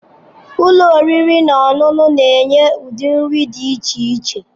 Ụlọ oriri na ọṅụṅụ na-enye ụdị nri dị iche iche.